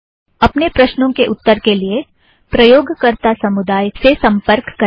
अपने प्रश्नों के उत्तर के लिए प्रयोगकरता समुदाय से सम्पर्क करें